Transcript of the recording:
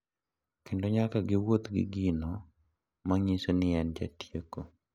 Kendo nyaka giwuoth gi gino manyiso ni en jatieko.